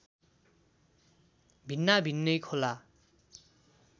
भिन्नाभिन्नै खोला